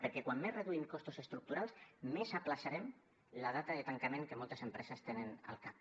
perquè com més reduïm costos estructurals més ajornarem la data de tancament que moltes empreses tenen al cap